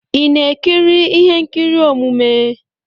Ị na-ekiri ihe nkiri omume?